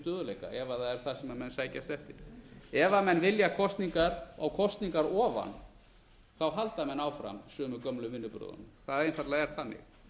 stöðugleika ef það er það sem menn sækjast eftir ef menn vilja kosningar á kosningar ofan þá halda menn áfram sömu gömlu vinnubrögðunum það er einfaldlega þannig